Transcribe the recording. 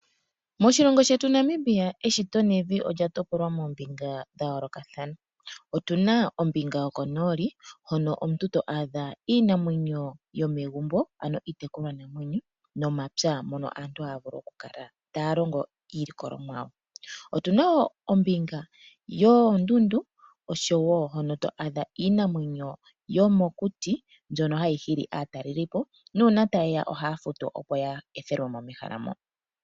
Moshilongo shetu Namibia eshito nevi olya topolwa moombinga dhayoolokathana. Otuna ombinga yoko nooli hono to a dha iinamwenyo yomegumbo ano iitekulwa namwenyo, nomapya taya vulu oku kala taya likola iilikolomwa yawo. Otuna ombinga yoondundu osho woo hono ano to a dha iinamwenyo yomokuti mbyono hayi hili aataleliipo, nuuna taye ya ohaya futu okuya opo ya ethelwe mo mehala mo.